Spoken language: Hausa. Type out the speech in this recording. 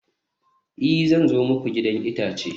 i, zan zo muku gidan itace